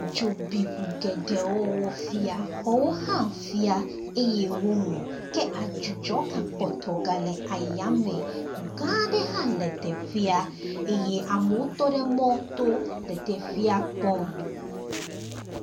Dzo bi ŋu geɖewo wofia, xɔwo hã fia eye womu. Ke adzudzɔ gakpɔtɔ gale ayame. Ŋu gã aɖe hã le teƒea eye amewo tɔ ɖe mɔto le teƒea kpɔm.